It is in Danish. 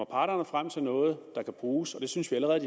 parterne frem til noget der kan bruges og det synes vi allerede